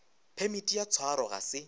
phemiti ya tshwaro ga se